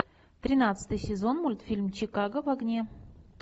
тринадцатый сезон мультфильм чикаго в огне